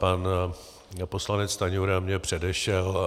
Pan poslanec Stanjura mě předešel.